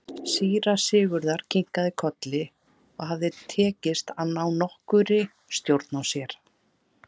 Án efa